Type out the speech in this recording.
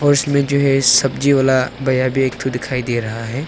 उसमें जो है सब्जी वाला भैया भी एक ठो दिखाई दे रहा है।